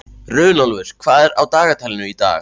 Runólfur, hvað er á dagatalinu í dag?